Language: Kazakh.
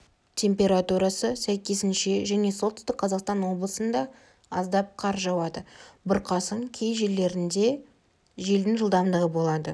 температурасы сәйкесінше және солтүстік қазақстан облысында аздап қар жауады бұрқасын кей жерлерінде желдің жылдамдығы болады